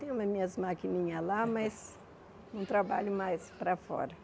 Tenho nas minhas maquininhas lá, mas não trabalho mais para fora.